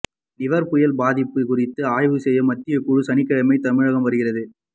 நிவர் புயல் பாதிப்பு குறித்து ஆய்வு செய்ய மத்திய குழு சனிக்கிழமை தமிழகம் வருகிறது